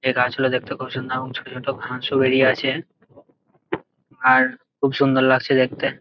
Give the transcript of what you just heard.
এই গাছ গুলো দেখতে খুব সুন্দর এবং ছোট ছোট ঘাসও বেরিয়ে আছে আর খুব সুন্দর লাগছে দেখতে।